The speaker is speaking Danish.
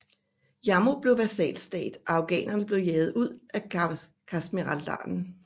Jammu blev vasalstat og afghanerne blev jaget ud af Kashmirdalen